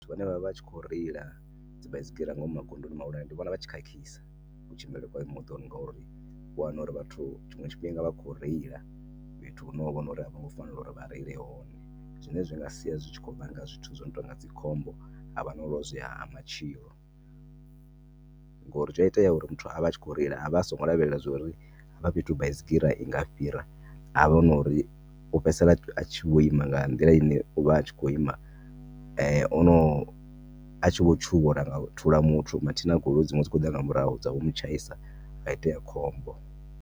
Vhane vha vha vha tshi kho reila dzi baisigira nga ngomu magondoni mahulwane ndi vhona vhatshi khakhisa ku tshimbilele kwa moḓoro ngauri uya wana uri vhathu tshinwe tshifhinga vhakho reila fhethu honoho hune avhongo fanela uri vha reile hone. Zwine zwinga sia zwitshi kho vhanga zwithu zwino tonga dzi khombo havha na u lozwea ha matshilo ngori zwia itea uri muthu avha atshi akho reila avha asingo lavhelela zwori hafha fhethu baisigira inga fhira havha na uri u fhedzisela atshi vho ima nga nḓila ine u vha a tshi kho ima ono a tshi vho tshuwa uri a nga thula mathina goloi dzinwe dzikho ḓa nga murahu dzavho mu tshaisa ha itea khombo.